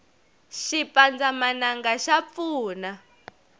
xipandzamananga xa pfuna